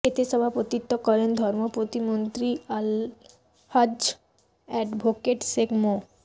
এতে সভাপতিত্ব করেন ধর্ম প্রতিমন্ত্রী আলহাজ্ব অ্যাডভোকটে শেখ মো